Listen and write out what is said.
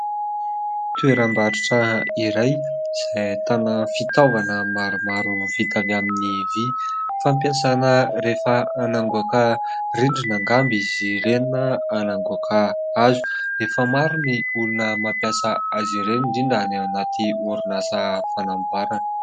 Toeram-barotra iray izay ahitana fitaovana maromaro vita avy amin'ny vy. Fampiasana rehefa handoaka rindrina angamba izy ireny na handoaka hazo ; efa maro ny olona mampiasa azy ireny indrindra any anaty orinasa fanamboarana.